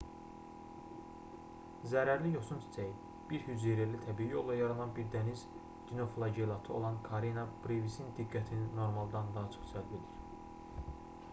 zərərli yosun çiçəyi bir hüceyrəli təbii yolla yaranan bir dəniz dinoflagellatı olan karena brevisin diqqətini normaldan daha çox cəlb edir